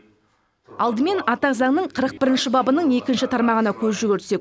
алдымен ата заңның қырық бірінші бабының екінші тармағына көз жүгіртсек